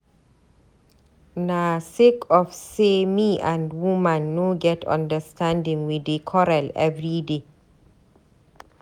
Na sake of sey me and woman no get understanding we dey quarrel everyday.